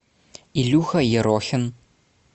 илюха ерохин